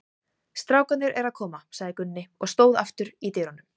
Strákarnir eru að koma, sagði Gunni og stóð aftur í dyrunum.